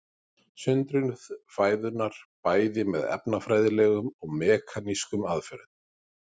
Sundrun fæðunnar bæði með efnafræðilegum og mekanískum aðferðum.